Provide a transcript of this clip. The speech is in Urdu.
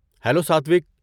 ہیلوساتوک!